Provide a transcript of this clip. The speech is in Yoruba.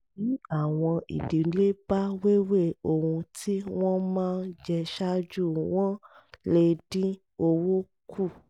bí àwọn ìdílé bá wéwè ohun tí wọ́n máa jẹ ṣáájú wọ́n lè dín owó kù